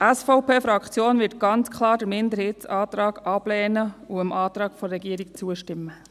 Die SVP-Fraktion wird den Minderheitsantrag ganz klar ablehnen und dem Antrag der Regierung zustimmen.